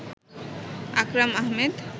Akram Ahmed